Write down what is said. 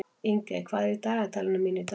Ingey, hvað er í dagatalinu mínu í dag?